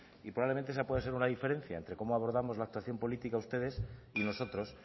y probablemente esa puede ser una diferencia entre cómo abordamos la actuación política ustedes y nosotros